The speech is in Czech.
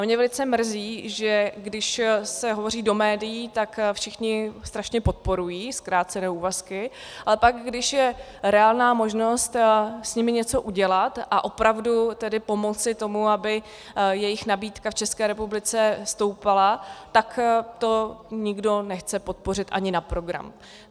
A mě velice mrzí, že když se hovoří do médií, tak všichni strašně podporují zkrácené úvazky, ale pak, když je reálná možnost s nimi něco udělat a opravdu tedy pomoci tomu, aby jejich nabídka v České republice stoupala, tak to nikdo nechce podpořit ani na program.